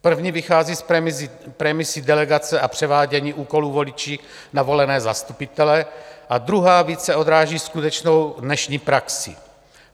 První vychází z premisy delegace a převádění úkolů voliči na volené zastupitele a druhá více odráží skutečnou dnešní praxi.